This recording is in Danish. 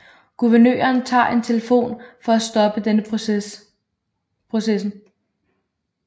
Guvernøren tager en telefon for at stoppe denne processen